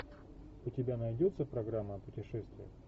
у тебя найдется программа о путешествиях